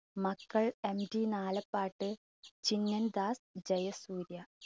മക്കൾ അൻവി നാലപ്പാട്ട്, ചിനിയൻ ദാസ്, ജയസൂര്യ.